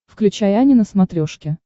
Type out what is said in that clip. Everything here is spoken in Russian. включай ани на смотрешке